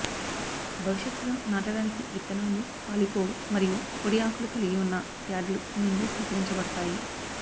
భవిష్యత్తులో నాటడానికి విత్తనాలు పాలిపోవు మరియు పొడి ఆకులు కలిగి ఉన్న ప్యాడ్లు నుండి సేకరించబడతాయి